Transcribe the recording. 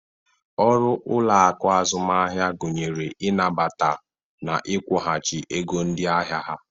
Ọrụ ụloaku azụmahịa gụnyere i nabata na ịkwụghachị ego ndị ahịa ha.